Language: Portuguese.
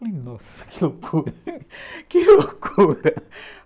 Falei, nossa, que loucura, que loucura.